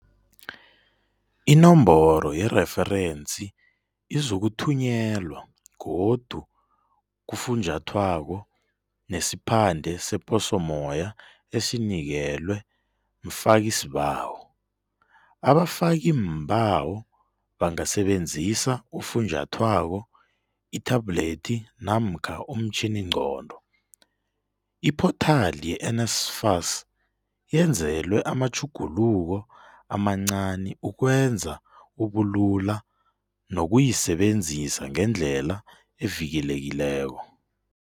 Inomboro yereferensi izokuthunyelwa godu kufunjathwako nesiphande seposommoya esinikelwe mfakisibawo. Abafakiimbawo bangasebenzisa ufunjathwako, ithablethi namkha umtjhiningqondo. Iphothali yeNSFAS yenzelwe amatjhuguluko amancani ukwenza ubulula nokuyisebenzisa ngendlela evikelekileko.